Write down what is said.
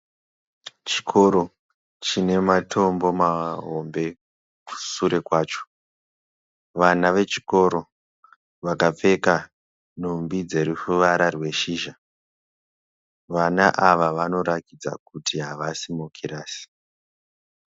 Chikoro chine matombo mahombe kusure kwacho . Vana vechikoro vakapfeka nhumbi dzeruvara rweshizha . Vana ava vanoratidza kuti havasi mukirasi.